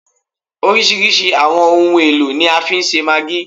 Oríṣirísi àwọn ohun èlò ni a fi ń ṣe maggi